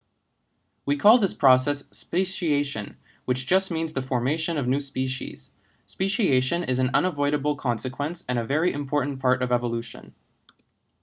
we call this process speciation which just means the formation of new species speciation is an unavoidable consequence and a very important part of evolution